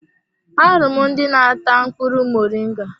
Ahụrụ m ndị n'ata mkpụrụ muringa.